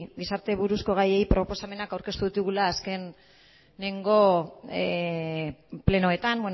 gizarte buruzko gaiei proposamenak aurkeztu ditugula azkeneko plenoetan